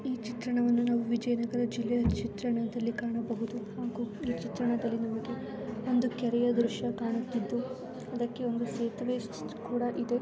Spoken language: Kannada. ಈ ಚಿತ್ರಣವನ್ನು ನಾವು ವಿಜಯನಗರ ಜಿಲ್ಲೆಯ ಚಿತ್ರಣದಲ್ಲಿ ಕಾಣಬಹುದು ಹಾಗೂ ಈ ಚಿತ್ರಣದಲ್ಲಿ ನಮಗೆ ಒಂದು ಕೆರೆಯ ದೃಶ್ಯ ಕಾಣುತ್ತಿದ್ದು ಅದಕ್ಕೆ ಒಂದು ಸೇತುವೆ ಕೂಡ ಇದೆ.